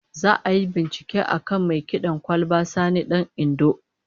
Za'a yi bincike akan mai kid'an kwalba Sani Dan Indo